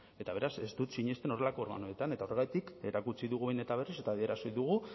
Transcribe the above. eta beraz ez dut sinesten horrelako organoetan eta horregatik erakutsi dugu behin eta berriz eta adierazi dugu